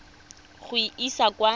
go e isa kwa go